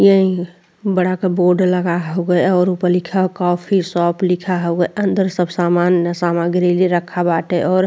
ये बड़ा का बोर्ड लगा हउवे और ऊपर लिखा है कॉफी शॉप लिखा हउवे। अंदर सब सामान सामग्री भी रखा बाटे और --